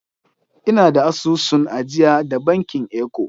Ina da asusun ajiya da bankin Eco.